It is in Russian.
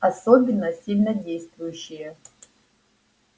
особенно сильнодействующие